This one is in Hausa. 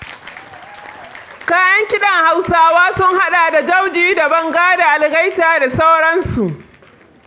Kayan kiɗan Hausawa sun haɗa da jauje da banga da algaita da sauransu.